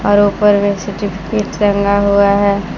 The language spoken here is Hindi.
और ऊपर में सर्टिफिकेट टंगा हुआ है।